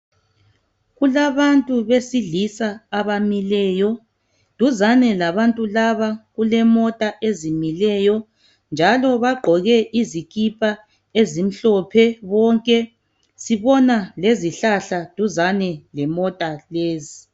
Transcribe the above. Kulabantu besilisa abamileyo duzane labantu laba kulemota ezimileyo njalo bagqoke izikipa ezimhlophe bonke sibona lezihlahla duzane lemota lezi.